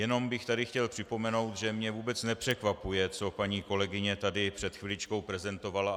Jenom bych tady chtěl připomenout, že mě vůbec nepřekvapuje, co paní kolegyně tady před chviličkou prezentovala.